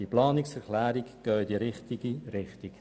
Die Planungserklärungen gehen alle in die richtige Richtung.